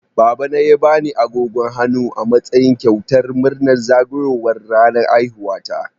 Babana ya bani agogon hannu a matsayin kyautar murnar zagayowar ranar haihuwata.